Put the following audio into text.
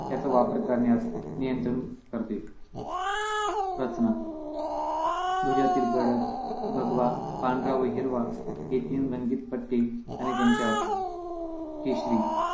याचा वापर करण्यात नियंत्रण करते रचना ध्वजातील गडद भगवा पांढरा व हिरवा हे तीन रंगीत पट्टे आणि त्यांचे अर्थ केशरी